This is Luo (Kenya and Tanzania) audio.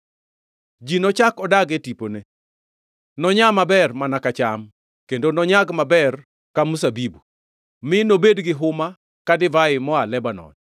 Ji nochak odag e tipone. Nonyaa maber mana ka cham, kendo nonyag maber ka mzabibu mi nobed gi huma ka divai moa Lebanon.